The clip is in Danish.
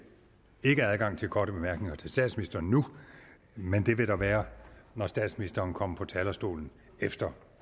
ikke adgang til korte bemærkninger til statsministeren nu men det vil der være når statsministeren kommer på talerstolen efter